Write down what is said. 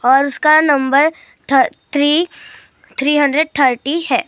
और उसका नंब थ थ्री थ्री हंड्रेड थर्टी है --